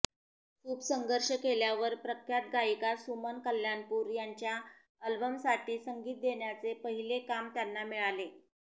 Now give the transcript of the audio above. खूप संघर्ष केल्यावर प्रख्यात गायिका सुमन कल्याणपूर यांच्या अल्बमसाठी संगीत देण्याचे पहिले काम त्यांना मिळाले